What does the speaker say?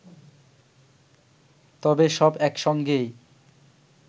তবে সব একসঙ্গেই